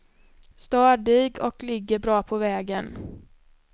Stadig och ligger bra på vägen.